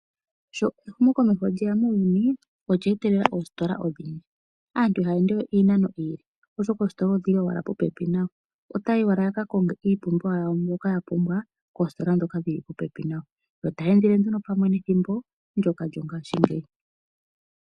Sho ehumokomeho lyeya muuyuni olya etelela oositola odhindji. Aantu ihaya ende we iinano oyindji oshoka oositola odhili owala popepi nayo. Otaya yi owala ya ka konge iipumbiwa yawo mbyoka ya pumbwa poositola dhopopepi nayo, yo taya endele pamwe nethimbo ndyoka lyongashingeyi.